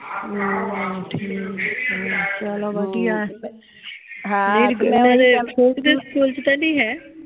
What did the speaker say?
ਠੀਕ ਆ ਚਲੋ ਵਧੀਆ ਏ ਓਹਨਾ ਦੇ ਛੋਟੀ ਦੇ ਸਕੂਲ ਚ ਤਾ ਨਹੀਂ ਹੈ